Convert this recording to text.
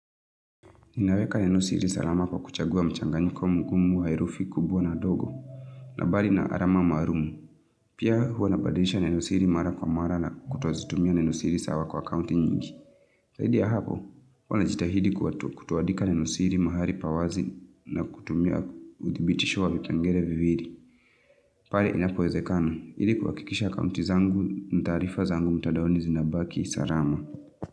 Ninaweka nenosiri salama kwa kuchaguwa mchanga nyikomukumu wairufi kubwa na dogo, nabali na arama marumu. Pia huwa napadelisha nenusiri mara kwa mara na kutuwazi tumia nenusiri sawa kwa kaunti nyingi. Zaidi hapo, huwa najitahidi kutoadika nenosiri mahari pawazi na kutumia wudhibitishwa wikangere vividi. Pali inapoezekana, idikuwa kikisha kaunti zangu ntarifa zangu mutadawni zina baki salama.